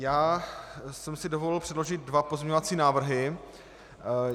Já jsem si dovolil předložit dva pozměňovací návrhy.